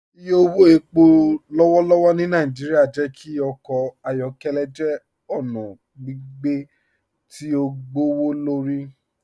Ìyẹ̀ owó ẹ̀pọ̀ lọ́wọ̀lọ́wọ̀ ni Naijíríà jẹ́ kí ọkọ ayọkẹlẹ jẹ́ ọna gbìgbé tí o gbọwọ́lọ́rì